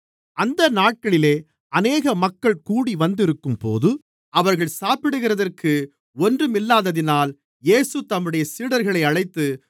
அந்த நாட்களிலே அநேக மக்கள் கூடிவந்திருக்கும்போது அவர்கள் சாப்பிடுகிறதற்கு ஒன்றுமில்லாததினால் இயேசு தம்முடைய சீடர்களை அழைத்து